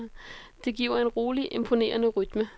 Det giver en rolig, imponerende rytme.